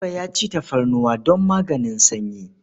Buba ya ci tafarnuwa don maganin sanyi.